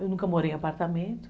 Eu nunca morei em apartamento.